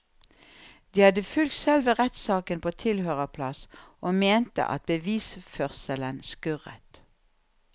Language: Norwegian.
De hadde fulgt selve rettssaken på tilhørerplass og mente at bevisførselen skurret.